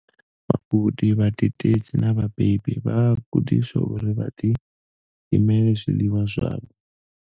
Vhagudi, vhadededzi na vhabebi vha a gudiswa uri vha ḓilimele zwiḽiwa zwavho.